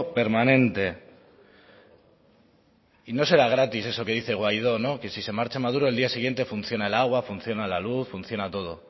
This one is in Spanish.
permanente y no será gratis eso que dice guaidó que si se marcha maduro el día siguiente funciona el agua funciona la luz funciona todo